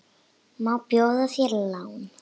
Má bjóða þér lán?